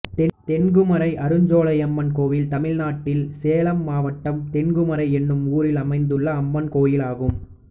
தென்குமரை அருஞ்சோலையம்மன் கோயில் தமிழ்நாட்டில் சேலம் மாவட்டம் தென்குமரை என்னும் ஊரில் அமைந்துள்ள அம்மன் கோயிலாகும்